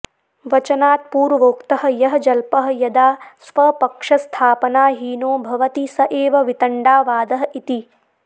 वचनात् पूर्वोक्तः यः जल्पः यदा स्वपक्षस्थापनाहीनो भवति स एव वितण्डावादः इति